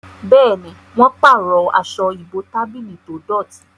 Béèni wón parọ Aṣọ ìbotábílì tó dọti.